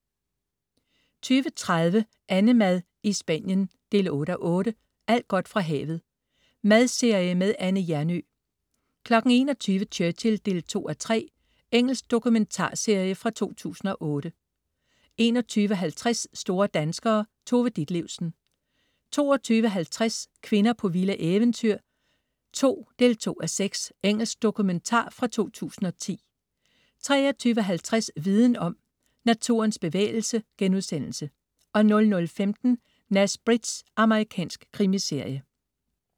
20.30 AnneMad i Spanien 8:8. Alt godt fra havet. Madserie med Anne Hjernøe 21.00 Churchill 2:3. Engelsk dokumentarserie fra 2008 21.50 Store danskere. Tove Ditlevsen 22.50 Kvinder på vilde eventyr 2. 2:6. Engelsk dokumentar fra 2010 23.50 Viden om. Naturens bevægelse* 00.15 Nash Bridges. Amerikansk krimiserie